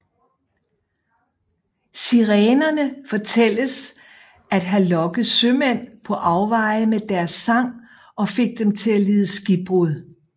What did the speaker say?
Sirenerne fortælles at have lokket sømænd på afveje med deres sang og fik dem til at lide skibbrud